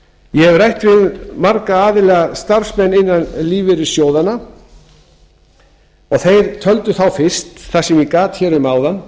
ég hef rætt við marga aðila starfsmenn innan lífeyrissjóðanna þeir töldu fyrst eins og ég gat um áðan